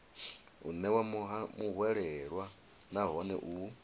u ṋewa muhwelelwa nahone u